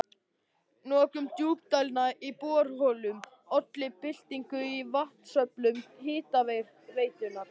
Notkun djúpdælna í borholum olli byltingu í vatnsöflun Hitaveitunnar.